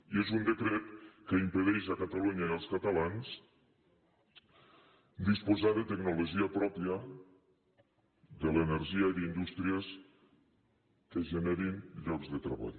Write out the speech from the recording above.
i és un decret que impedeix a catalunya i als catalans disposar de tecnologia pròpia de l’energia i d’indústries que generin llocs de treball